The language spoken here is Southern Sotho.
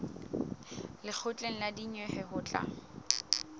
lekgotleng la dinyewe ho tla